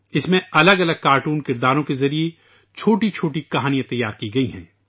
اس میں مختلف کارٹون کرداروں کے ذریعہ چھوٹی چھوٹی کہانیاں تیار کی گئی ہیں